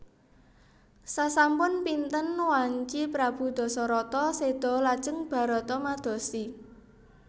Sasampun pinten wanci prabu Dasarata séda lajeng Barata madosi